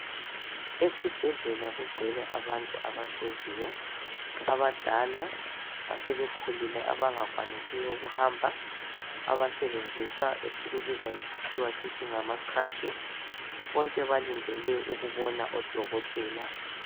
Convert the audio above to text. Esibhedlela kugcwele abantu abahleziyo abadala asebekhulile abangakwanisiyo ukuhamba abasebenzisa esikubuza ngesikhiwa sithi ngama khirashi. Bonke balindele ukubona odokotela.